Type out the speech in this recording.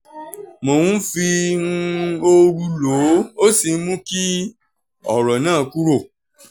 mo ń fi um ooru lò ó ó sì ń mú kí ọ̀rọ̀ náà kúrò